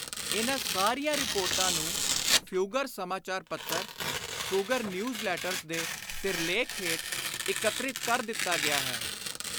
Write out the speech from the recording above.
ਇਨ੍ਹਾਂ ਸਾਰੀਆਂ ਰਿਪੋਰਟਾਂ ਨੂੰ ਫਿਊਗਰ ਸਮਾਚਾਰ ਪੱਤਰ (Fugger News Letters) ਦੇ ਸਿਰਲੇਖ ਹੇਠ ਇਕੱਤਰਿਤ ਕਰ ਦਿੱਤਾ ਗਿਆ ਹੈ।